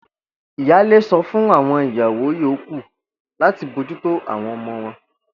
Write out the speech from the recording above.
Ìyáálé so̩ fún àwo̩n ìyàwó yòókù láti bójúto àwo̩n o̩mo̩ wo̩n